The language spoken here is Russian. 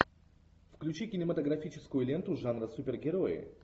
включи кинематографическую ленту жанра супергерои